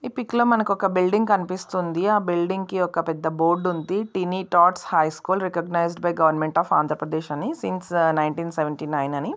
ఈ పిక్ లో మనకి ఒక బిల్డింగ్ కనిపిస్తుంది. ఆ బిల్డింగ్ కి ఒక పెద్ద బోర్డు ఉంది. Teeny tots high school recognized by government of Andhra Pradesh అని సీంస్ నైన్తీన్ సేవేంటి నైన్ అని.